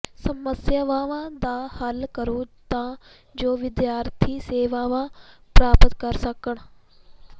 ਸਮੱਸਿਆਵਾਂ ਦਾ ਹੱਲ ਕਰੋ ਤਾਂ ਜੋ ਵਿਦਿਆਰਥੀ ਸੇਵਾਵਾਂ ਪ੍ਰਾਪਤ ਕਰ ਸਕਣ